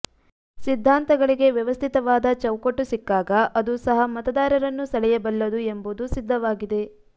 ಸಿದ್ಧಾಂತಗಳಿಗೆ ವ್ಯವಸ್ಥಿತವಾದ ಚೌಕಟ್ಟು ಸಿಕ್ಕಾಗ ಅದು ಸಹ ಮತದಾರರನ್ನು ಸೆಳೆಯಬಲ್ಲುದು ಎಂಬುದೂ ಸಿದ್ಧವಾಗಿದೆ